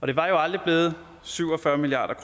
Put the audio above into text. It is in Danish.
det var jo aldrig blevet syv og fyrre milliard